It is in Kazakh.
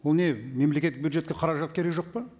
бұл не мемлекеттік бюджетке қаражат керегі жоқ па